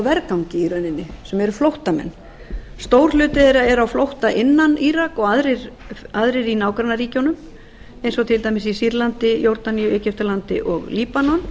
vergangi í rauninni sem eru flóttamenn stór hluti þeirra eru á flótta innan írak og aðrir í nágrannaríkjunum eins og til dæmis í sýrlandi jórdaníu egyptalandi og líbanon